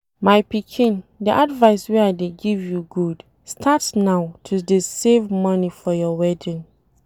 My pikin, the advice wey I dey give you good. Start now to dey save money for your wedding